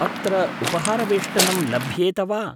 अत्र उपहारवेष्टनं लभ्येत वा ?